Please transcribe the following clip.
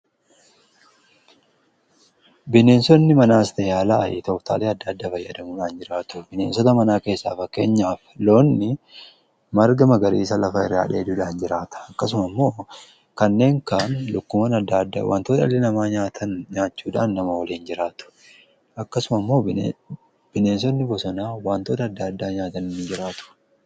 Bineensonni manaas ta'ee alaa tooftaalee adda adda fayyaadamuudhaan jiraatu . Bineensota manaa keessaa fakkeenyaaf loonmarga magariisa lafa irraa dheedudhaan jiraatau. Akkasuma immoo kanneen kan lukkuwwan adda addaa wantoota ilbiisa namaa nyaatan nyaachuudhaan nama waliin jiraatu. Akkasuma immoo bineensonni bosonaa wantoota addaa nyaatani jiraatu.